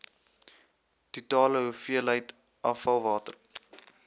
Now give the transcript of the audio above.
totale hoeveelheid afvalwater